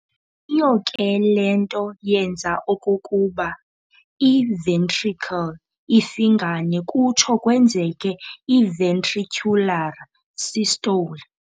Yiyo ke le nto yenza okokuba i-ventricle ifingane kuthso kwenzeke i-ventricular systole.